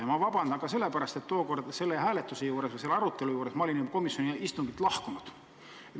Ma palun vabandust ka sellepärast, et tookord selle või arutelu juures olin mina juba komisjoni istungilt lahkunud.